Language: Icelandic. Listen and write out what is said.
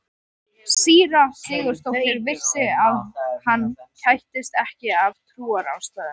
Síra Sigurður vissi að hann kættist ekki af trúarástæðum.